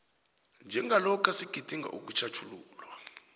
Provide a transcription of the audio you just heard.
njengalokha sigidinga ukutjhatjhululwa